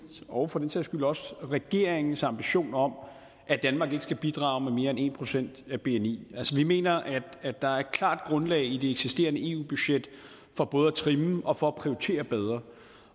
og for den sags skyld også regeringens ambition om at danmark ikke skal bidrage med mere end en procent af bni altså vi mener at der er et klart grundlag i det eksisterende eu budget for både at trimme og og prioritere bedre